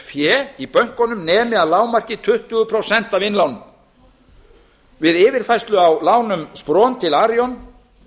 fé í bönkunum nemi að lágmarki tuttugu prósent af innlánum við yfirfærslu á lánum spron til arion